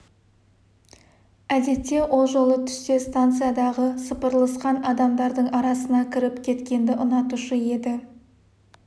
әдетте ол жолы түссе станциядағы сапырылысқан адамдардың арасына кіріп кеткенді ұнатушы еді